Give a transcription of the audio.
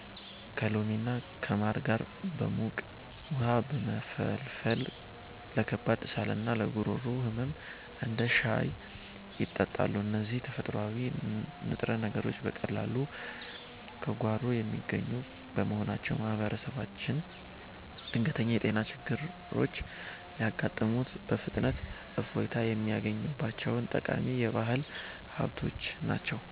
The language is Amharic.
ከሎሚና ከማር ጋር በሙቅ ውሃ በመፈልፈል ለከባድ ሳልና ለጉሮሮ ህመም እንደ ሻይ ይጠጣሉ። እነዚህ ተፈጥሯዊ ንጥረ ነገሮች በቀላሉ ከጓሮ የሚገኙ በመሆናቸው፣ ማህበረሰባችን ድንገተኛ የጤና ችግሮች ሲያጋጥሙት በፍጥነት እፎይታ የሚያገኝባቸው ጠቃሚ የባህል ሀብቶች ናቸው።